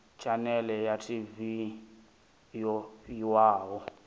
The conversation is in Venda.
tshanele ya tv yo fhiwaho